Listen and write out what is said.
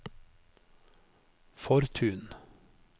Fortun